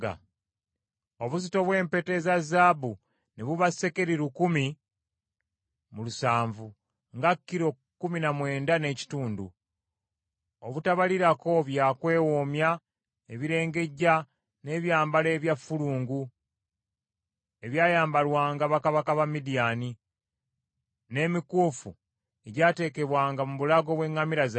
Obuzito bw’empeta eza zaabu ne buba sekeri lukumi mu lusanvu (nga kilo kkumi na mwenda n’ekitundu), obutabalirako bya kwewoomya, ebirengejja, n’ebyambalo ebya ffulungu, ebyayambalwanga bakabaka ba Midiyaani, n’emikuufu egyateekebwanga mu bulago bw’eŋŋamira zaabwe.